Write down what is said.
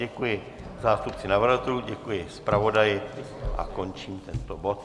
Děkuji zástupci navrhovatelů, děkuji zpravodaji a končím tento bod.